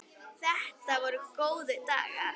Þetta voru góðir dagar.